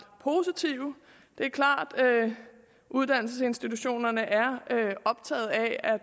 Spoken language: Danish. positive det er klart at uddannelsesinstitutionerne er optaget af